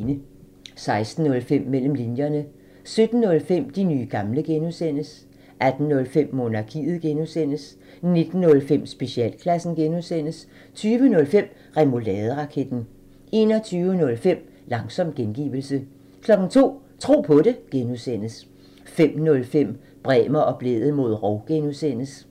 16:05: Mellem linjerne 17:05: De nye gamle (G) 18:05: Monarkiet (G) 19:05: Specialklassen (G) 20:05: Remouladeraketten 21:05: Langsom gengivelse 02:00: Tro på det (G) 05:05: Bremer og Blædel mod rov (G)